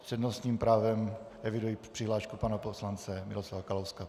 S přednostním právem eviduji přihlášku pana poslance Miroslava Kalouska.